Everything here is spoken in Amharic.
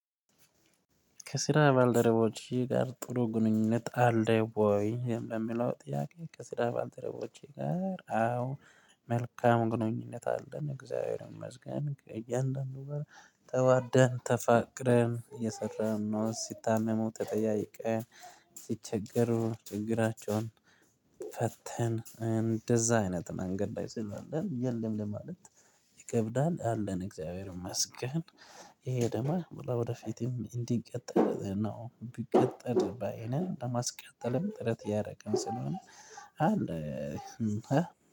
ከስራ ባልደረቦቼ ጋር ጥሩ ግንኙነት አለህ ወይ በሚለው ጥያቄ? ከስራ ከስራ ባልደረቦቼ ጋር አዎ መልካም ግንኙነት አለን እግዚአብሔርን መስገን ከእያንዳንዱ ጋር ተዋደን ተፋቅረን እየሰራን ነው። ሲታመሙ ተጠያይቀን ሲቸገሩ ችግራቸውን ፈተን እንደዛ አይነት መንገድ ላይ ስናለን የለም ለማለት ይከብዳል አለን እግዚአብሔር ይመስገን። ይሄ ደሞ በላው ወደፊትም እንዲንቀጥል ነው ቢቀጥል ባይነን ለማስቀጠልም ጥረት እያረገን ስለሆነ አለ።